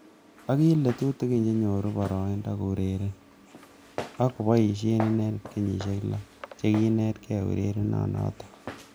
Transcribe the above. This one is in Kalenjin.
Akile tutikin chenyoru baroindo koureren ak ngoboishe inendet kenyishek.lo chekinetkei ureriet notok.